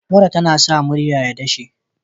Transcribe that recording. Mura tAna sa murya ta dashe